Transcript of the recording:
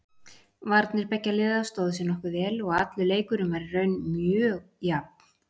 Varnir beggja liða stóðu sig nokkuð vel og allur leikurinn var í raun mjög jafn.